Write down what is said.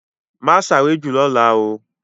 Ma sáré jù lọ́la oo!